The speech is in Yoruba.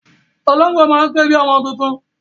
Ológbò máa ń ké bi ọmọ tuntun.